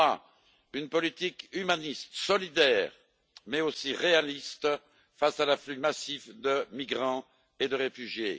Troisièmement, une politique humaniste, solidaire, mais aussi réaliste face à l'afflux massif de migrants et de réfugiés.